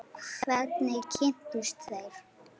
Hvernig kynntust þeir?